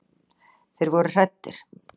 Þeir voru hræddir.